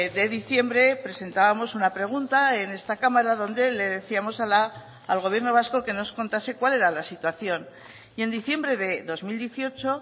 de diciembre presentábamos una pregunta en esta cámara donde le decíamos al gobierno vasco que nos contase cuál era la situación y en diciembre de dos mil dieciocho